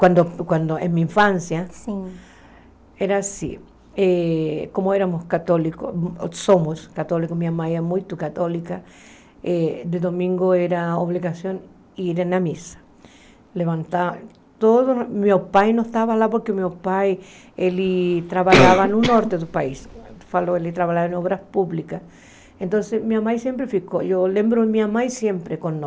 Quando, quando na minha infância, Sim Era assim, eh como éramos católicos, somos católicos, minha mãe é muito católica, eh de domingo era obrigação ir à missa, levantar, todos, meu pai não estava lá, porque meu pai, ele trabalhava no norte do país, ele trabalhava em obras públicas, então minha mãe sempre ficou, eu lembro minha mãe sempre